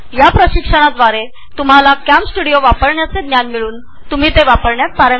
हे प्रशिक्षण तुम्हाला कॅमस्टुडिओ वापरण्याच्या प्रक्रियेत प्राविण्य मिळविण्यास मदत करेल